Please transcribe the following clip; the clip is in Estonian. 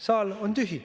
Saal on tühi.